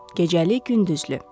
Gecəli-gündüzlü.